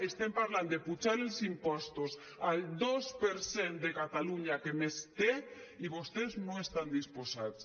estem parlant d’apujar els impostos al dos per cent de catalunya que més té i vostès no hi estan disposats